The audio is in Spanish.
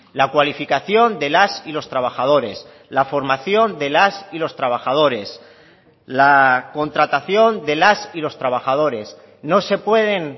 la cualificación de las y los trabajadores la formación de las y los trabajadores la contratación de las y los trabajadores no se pueden